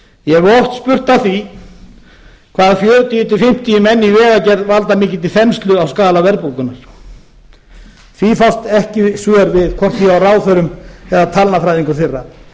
ég hef oft spurt að því hvað fjörutíu fimmtíu menn í vegagerð valda mikilli þenslu á skala verðbólgunnar við því fást ekki svör hvorki hjá ráðherrum eða talnafræðingum þeirra